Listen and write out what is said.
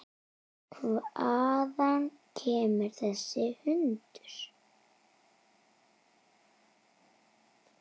Hvaðan kemur þessi hundur?